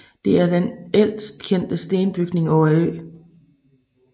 Det er den ældst kendte stenbygning på øen